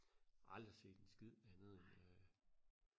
aldrig set en skid andet end øh